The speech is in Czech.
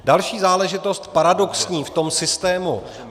Další záležitost, paradoxní, v tom systému.